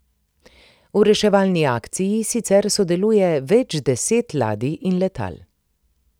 V reševalni akciji sicer sodeluje več deset ladij in letal.